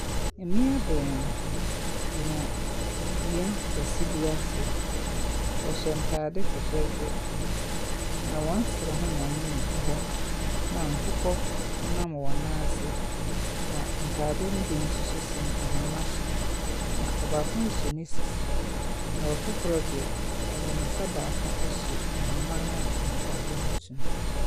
Mmea baanu gyina dua kɛse bi ase. Wɔhyɛ ntaade fɛfɛɛfɛ na wɔn srɛ ho mmom na egu hɔ na nkokɔ ɛnam wɔn naase na ntaade no bi nsoso sɛn ahama so, na ɔbaako so ne sisi na ɔfofro de, ɔde n'ensa baako asu ahoma na ntaade no gu so no.